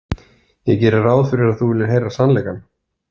Ég geri ráð fyrir að þú viljir heyra sannleikann.